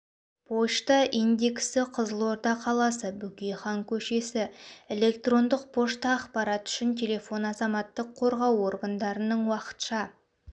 пошта индексі қызылорда қаласы бөкейхан көшесі электрондық пошта ақпарат үшін телефон азаматтық қорғау органдарының уақытша